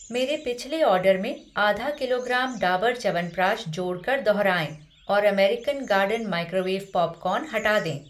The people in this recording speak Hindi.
मेरे पिछले ऑर्डर में आधा किलोग्राम डाबर च्यवनप्राश जोड़ कर दोहराएँ और अमेरिकन गार्डन माइक्रोवेव पॉपकॉर्न हटा दें।